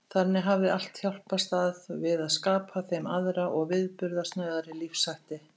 Þannig hafði allt hjálpast að við að skapa þeim aðra og viðburðasnauðari lífshætti.